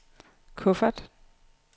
kuffert